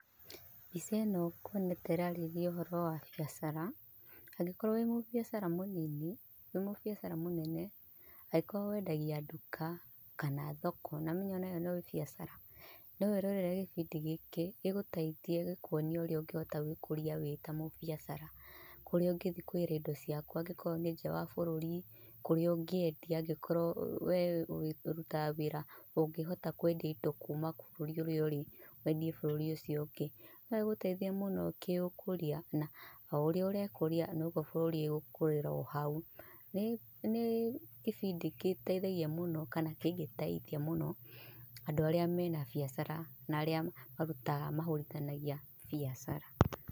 Mbica ĩno nguona ta ĩrarĩrĩria ũhoro wa biacara, angĩkorwo wĩ mũbiacara mũnini, wĩ mũbiacara mũnene angĩkorwo wendagia nduka kana thoko, nĩũramenya onayo no biacara no wĩrorere gĩbindi gĩkĩ gĩguteithie gĩkuonie ũrĩa ũngĩhota gwĩkũria wĩta mũbiacara, kũrĩa ũngĩthiĩ kũgĩĩra indo ciaku okorwo nĩ nja wa bũrũri, kũrĩa ũngĩendia okorwo wee ũrutaga wĩra ũngĩhota kwendia indo kuuma bũrũri ũrĩa ũrĩ wendie bũrũri ũcio ũngĩ, noĩgũteithie mũno kĩũkũria na o ũrĩa ũrekũria noguo bũrũri ũgũkũrĩra o hau, nĩ gĩbindi gĩteithagia mũno kana kĩngĩteithia mũno, andũ arĩa mena biacara na arĩa mahũũrithanagia biacara.